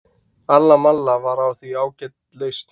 alla malla var því ágæt lausn